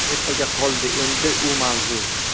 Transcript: Ertaga qoldi endi u mavzu.